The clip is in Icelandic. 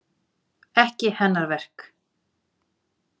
Ekki hennar verk.